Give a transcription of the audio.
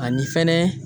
Ani fɛnɛ